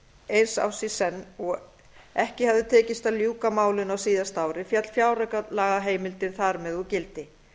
eins árs í senn og ekki hafði tekist að ljúka málinu á síðasta ári féll fjáraukalagaheimildin þar með úr gildi